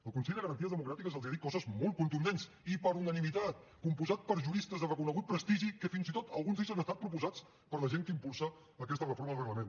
el consell de garanties estatutàries els ha dit coses molt contundents i per unanimitat compost per juristes de reconegut prestigi que fins i tot alguns d’ells han estat proposats per la gent que impulsa aquesta reforma del reglament